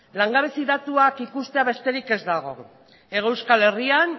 langabezi datuak ikustea besterik ez dago hego euskal herrian